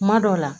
Kuma dɔw la